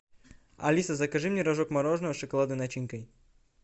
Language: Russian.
алиса закажи мне рожок мороженого с шоколадной начинкой